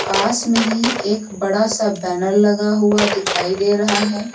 पास में ही एक बड़ा सा बैनर लगा हुआ दिखाई दे रहा है।